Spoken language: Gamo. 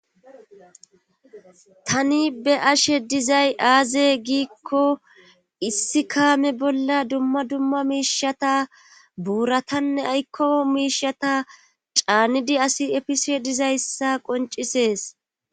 tani be ashe dizay aaze giikko issi kaame bolla dumma dumma miishata buuratanne aykko miishata caanidi asi efise dizayssa qoncisees